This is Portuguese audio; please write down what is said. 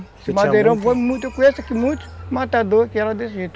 Esse madeirão foi muito... Eu conheço aqui muitos matadores que eram desse jeito.